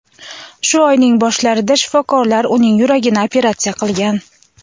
Shu oyning boshlarida shifokorlar uning yuragini operatsiya qilgan.